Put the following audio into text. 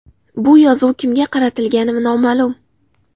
Bu yozuv kimga qaratilgani noma’lum.